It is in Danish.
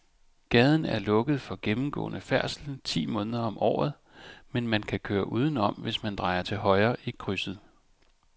Gaden er lukket for gennemgående færdsel ti måneder om året, men man kan køre udenom, hvis man drejer til højre i krydset.